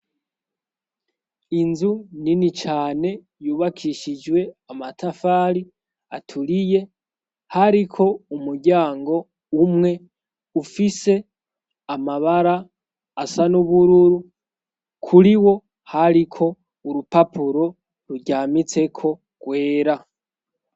Inzu nini cane yubakishijwe amatafari aturiye, hariko umuryango umwe ufise amabara asa n'ubururu kuri wo hariko urupapuro ruryamitseko rwera.